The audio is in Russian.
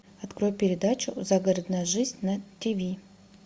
открой передачу загородная жизнь на тиви